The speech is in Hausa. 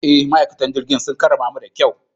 E, ma'aikatan jirigin sun karramamu da kyau.